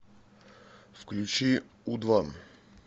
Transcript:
включи у два